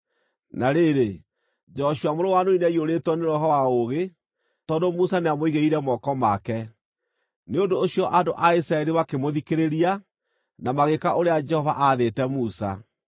Na rĩrĩ, Joshua mũrũ wa Nuni nĩaiyũrĩtwo nĩ roho wa ũũgĩ, tondũ Musa nĩamũigĩrĩire moko make. Nĩ ũndũ ũcio andũ a Isiraeli makĩmũthikĩrĩria, na magĩĩka ũrĩa Jehova aathĩte Musa.